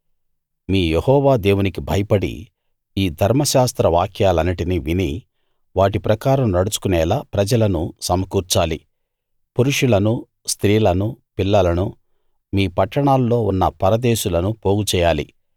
మీ Jehovah దేవునికి భయపడి ఈ ధర్మశాస్త్ర వాక్యాలన్నిటినీ విని వాటి ప్రకారం నడుచుకునేలా ప్రజలను సమకూర్చాలి పురుషులనూ స్త్రీలనూ పిల్లలనూ మీ పట్టణాల్లో ఉన్న పరదేశులను పోగు చెయ్యాలి